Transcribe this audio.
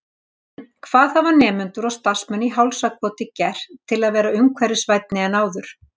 En hvað hafa nemendur og starfsmenn í Hálsakoti gert til að vera umhverfisvænni en áður?